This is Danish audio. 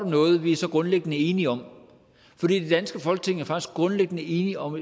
noget vi er så grundlæggende enige om for det danske folketing er faktisk grundlæggende enige om